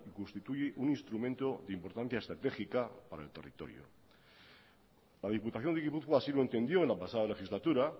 que constituye un instrumento de importancia estratégica para el territorio la diputación de gipuzkoa así lo entendió la pasada legislatura